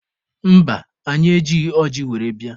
Mba, anyị ejighị ọjị were bịa.